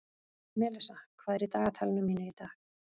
Melissa, hvað er í dagatalinu mínu í dag?